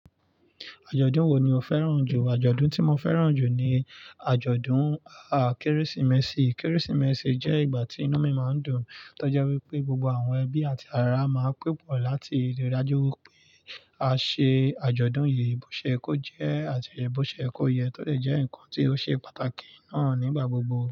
Àjọ̀dún wo ni o fẹ́ràn jù? Àjọ̀dún tí mo fẹ́ràn jù ni àjọ̀dún, à, Kérésìmesì. Kérésìmesì jẹ́ ìgbà tí inú mi máa ń dùn, to je wípé gbogbo àwọn ẹbí àti ará máa ń pe pọ̀ láti rí i dájú wípé a ṣe àjọ̀dún yìí bó ṣe ye kó jẹ́, àti bó ṣe ye kó yẹ tó dè jẹ́ ǹkan tí ó ṣe pàtàkì náà nígbà gbogbo.